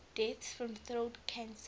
deaths from throat cancer